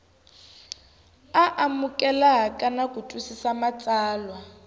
amukeleka na ku twisisa matsalwa